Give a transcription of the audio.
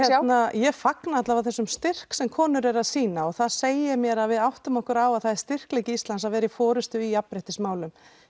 ég fagna allavega þessum styrk sem konur eru að sýna og það segir mér að við áttum okkur á að það er styrkleiki Íslands að vera í forystu í jafnréttismálum